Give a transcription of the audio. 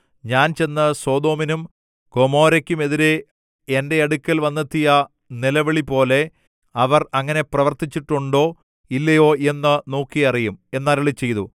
ഞാൻ ചെന്ന് സൊദോമിനും ഗൊമോരയ്ക്കുമെതിരെ എന്റെ അടുക്കൽ വന്നെത്തിയ നിലവിളിപോലെ അവർ അങ്ങനെ പ്രവർത്തിച്ചിട്ടുണ്ടോ ഇല്ലയോ എന്ന് നോക്കി അറിയും എന്ന് അരുളിച്ചെയ്തു